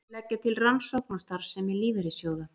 Leggja til rannsókn á starfsemi lífeyrissjóða